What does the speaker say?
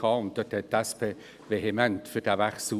Die SP votierte damals vehement für den Wechsel.